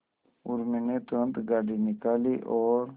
उर्मी ने तुरंत गाड़ी निकाली और